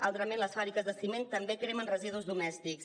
altrament les fàbriques de ciment també cremen residus domèstics